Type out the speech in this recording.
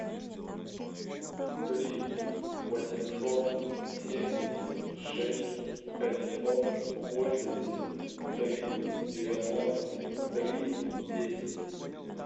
три восемьсот семьдесят шесть пятьсот восемьдесят три девяносто три десять